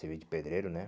Serviço de pedreiro, né?